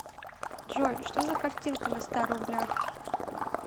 джой что за картинка на ста рублях